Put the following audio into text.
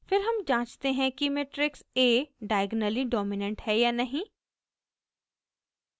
फिर हम जाँचते हैं कि मेट्रिक्स a diagonally dominant है या नहीं